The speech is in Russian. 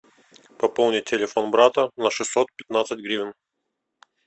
пополнить телефон брата на шестьсот пятнадцать гривен